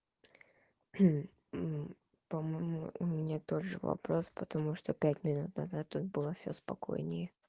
по моему у меня тоже вопрос потому что пять минут назад тут было всё спокойнее